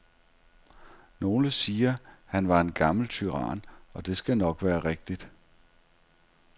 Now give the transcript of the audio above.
Nogle siger, han var en gammel tyran, og det skal nok være rigtigt.